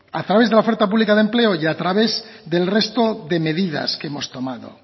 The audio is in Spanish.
a través de la oferta pública de empleo y a través del resto de medidas que hemos tomado